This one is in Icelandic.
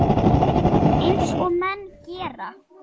Eins og menn gera.